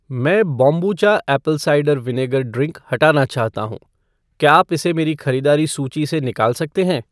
मैं kombucha apple cider vinegar drink हटाना चाहता हूँ , क्या आप इसे मेरी खरीदारी सूची से निकाल सकते हैं?